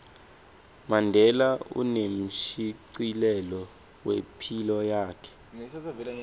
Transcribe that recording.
mandela unemshicilelo wephilo yakhe